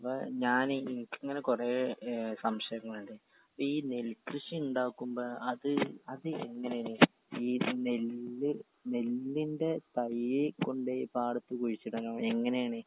ഞാനീ ഇൻക്കിങ്ങനെ കൊറേ ഏ സംശയങ്ങളിണ്ട് ഇപ്പീ നെൽകൃഷി ഇണ്ടാക്കുമ്പൊ അത് അത് എങ്ങനേണ് ഈ നെല്ല് നെല്ലിന്റെ തയ്യ് കൊണ്ടോയി പാടത്ത് കുഴിച്ചിടണം എങ്ങനേണ്.